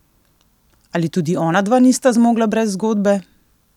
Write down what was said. Ali tudi onadva nista zmogla brez zgodbe?